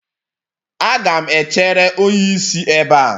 Aga m echere onye isi ebe a.